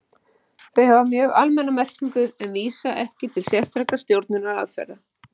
Þau hafa mjög almenna merkingu en vísa ekki til sérstakra stjórnunaraðferða.